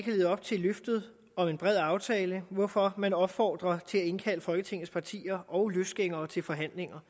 levet op til løftet om en bred aftale hvorfor man opfordrer til at indkalde folketingets partier og løsgængere til forhandlinger